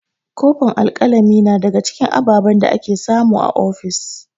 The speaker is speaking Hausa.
Kofin alƙalami na daga cikin ababen da ake samu a ofis.